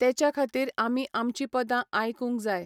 तेच्या खातीर आमी आमचीं पदां आयकूंक जाय.